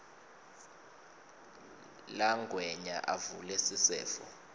langwenya avule sisefo